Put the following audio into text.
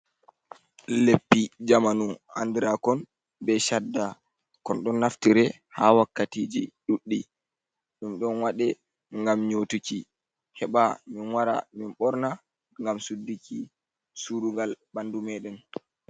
Leppi jamanu andira kon be chadda kon don naftire ha wakkatiji ɗuddi ɗum don waɗe ngam nyotuki heba min wara min borna ngam suddiki surugal ɓandu me ɗen.